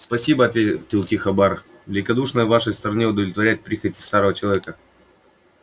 спасиб ответил тихо бар великодушно с вашей стороны удовлетворять прихоти старого человека